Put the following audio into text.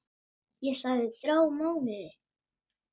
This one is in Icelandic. Ég þagði í þrjá mánuði.